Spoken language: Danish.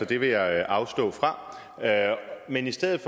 det vil jeg afstå fra men i stedet